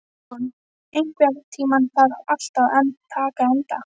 Tímon, einhvern tímann þarf allt að taka enda.